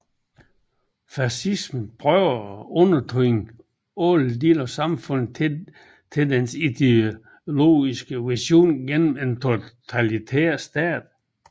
Fascismen søger at undertvinge alle dele af samfundet til dens ideologiske vision gennem en totalitær stat